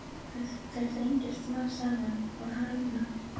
Þær þrengjast smám saman og harðna.